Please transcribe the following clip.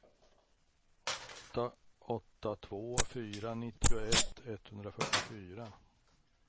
åtta åtta två fyra nittioett etthundrafyrtiofyra